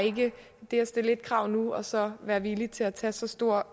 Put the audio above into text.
ikke det at stille et krav nu og så være villig til at tage så store